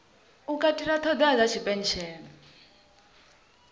u katela ṱhoḓea dza tshipentshela